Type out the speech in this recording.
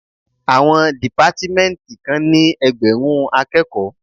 Àwọn dìpátmẹ́ntì kan ní ẹgbẹ̀rún akẹ́kòó.